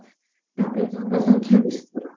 ତାପରେ ଜନ ସଂଖ୍ୟା ବିସ୍ଫୋରଣ